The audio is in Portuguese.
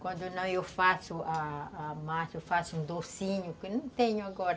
Quando não, eu faço a a a massa, eu faço um docinho que não tenho agora.